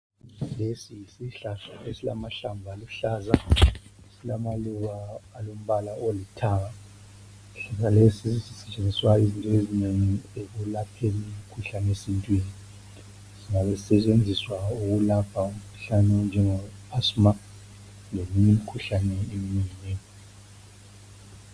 Lesi yisihlahla esilamahlamvu aluhlaza silamaluba alombala olithanga lesi sisetshenziswa izinto ezinengi ekwelapheni imkhuhlane yesintwini kusetshenziswa ukulapha imkhuhlane enjengabo nyongo, asima leminye eminengi nengi.